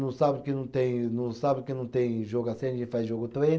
não sábado que não tem, não sábado que não tem jogo assim, a gente faz jogo treino.